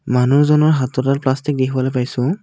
মানুহজনৰ হাতত এডাল প্লাষ্টিক দেখিবলৈ পাইছোঁ।